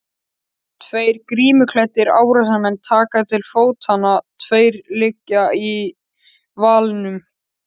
Tveir grímuklæddir árásarmenn taka til fótanna, tveir liggja í valnum.